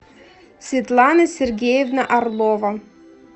светлана сергеевна орлова